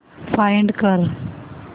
find कर